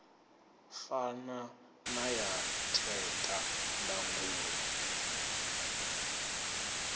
fana na ya theta ndangulo